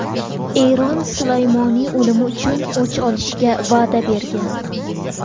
Eron Sulaymoniy o‘limi uchun o‘ch olishga va’da bergan.